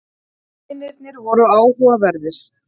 Vinirnir voru áhugaverðir.